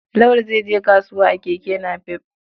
Lawal zai je kasuwa a keke napep.